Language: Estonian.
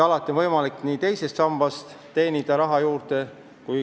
Alati on võimalik saada teisest sambast raha juurde.